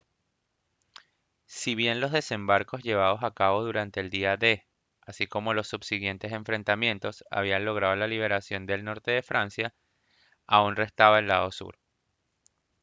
si bien los desembarcos llevados a cabo durante el día d así como los subsiguientes enfrentamientos habían logrado la liberación del norte de francia aún restaba el lado sur